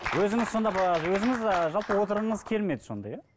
өзіңіз сондағы өзіңіз ыыы жалпы отырғыңыз келмеді сонда иә